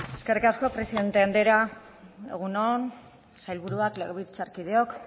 zurea da hitza eskerrik asko presidente andrea egun on sailburuak legebiltzarkideok